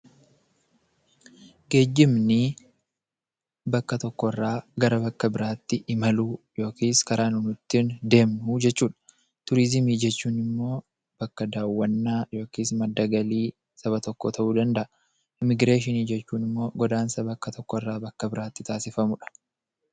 Geejjibni bakka tokkorraa gara bakka biraatti imaluu yookiis karaa nuti ittiin deemnuu jechuudha. Turizimii jechuunimmoo bakka daawwannaa yookis madda galii saba tokkoo ta'uu danda'a. Immigireeshinii jechuunimmoo godaansa bakka tokkorraa bakka biraatti taasifamudha.